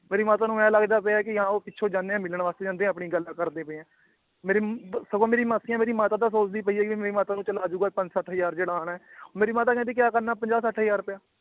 ਮੇਰੀ ਮਾਤਾ ਨੂੰ ਏਂ ਲੱਗਦਾ ਪਿਆ ਕਿ ਹਾਂ ਉਹ ਪਿੱਛੋਂ ਜਾਂਦੇ ਏ ਮਿਲਣ ਵਾਸਤੇ ਜਾਂਦੇ ਏ ਆਪਣੀ ਗੱਲਾਂ ਕਰਦੇ ਪਏ ਏ ਮੇਰੀ ਸਗੋਂ ਮੇਰੀ ਮਾਸੀਆਂ ਮੇਰੀ ਮਾਤਾ ਦਾ ਸੋਚਦੀ ਪਈ ਏ ਕਿ ਵੀ ਮੇਰੀ ਮਾਤਾ ਨੂੰ ਚਲੋ ਆਜੁਗਾ ਪੰਜ ਸੱਠ ਹਜ਼ਾਰ ਜਿਹੜਾ ਆਣਾ ਏ ਮੇਰੀ ਮਾਤਾ ਕਹਿੰਦੀ ਕਯਾ ਕਰਨਾ ਏ ਪੰਜ ਸੱਠ ਹਜ਼ਾਰ ਰੁਪਯਾ